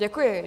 Děkuji.